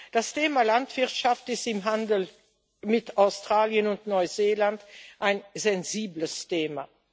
Das Thema Landwirtschaft ist im Handel mit Australien und Neuseeland ein sensibles Thema.